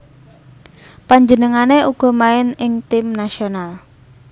Panjenengané uga main ing tim nasional